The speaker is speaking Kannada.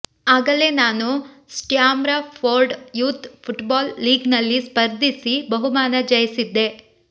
ಆಗಲೇ ನಾನು ಸ್ಟ್ಯಾಮ್ರಫೋರ್ಡ್ ಯೂತ್ ಫುಟ್ಬಾಲ್ ಲೀಗ್ನಲ್ಲಿ ಸ್ಪರ್ಧಿಸಿ ಬಹುಮಾನ ಜಯಿಸಿದ್ದೆ